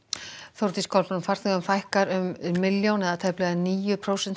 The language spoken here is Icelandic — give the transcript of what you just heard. Þórdís Kolbrún farþegum fækkar um milljón eða tæplega níu prósent